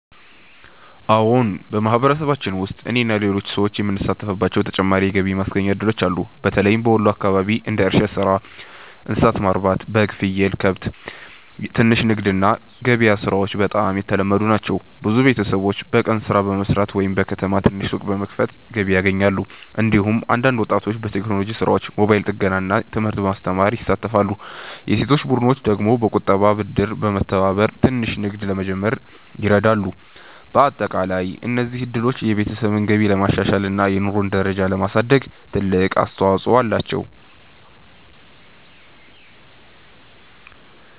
አዎን፣ በማህበረሰባችን ውስጥ እኔና ሌሎች ሰዎች የምንሳተፍባቸው ተጨማሪ የገቢ ማስገኛ እድሎች አሉ። በተለይም በወሎ አካባቢ እንደ እርሻ ሥራ፣ እንስሳት ማርባት (በግ፣ ፍየል፣ ከብት)፣ ትንሽ ንግድ እና ገበያ ሥራዎች በጣም የተለመዱ ናቸው። ብዙ ቤተሰቦች በቀን ሥራ በመስራት ወይም በከተማ ትንሽ ሱቅ በመክፈት ገቢ ያገኛሉ። እንዲሁም አንዳንድ ወጣቶች በቴክኖሎጂ ሥራዎች፣ ሞባይል ጥገና እና ትምህርት ማስተማር ይሳተፋሉ። የሴቶች ቡድኖች ደግሞ በቁጠባና ብድር በመተባበር ትንሽ ንግድ ለመጀመር ይረዳሉ። በአጠቃላይ እነዚህ እድሎች የቤተሰብ ገቢን ለማሻሻል እና የኑሮ ደረጃን ለማሳደግ ትልቅ አስተዋፅኦ አላቸው።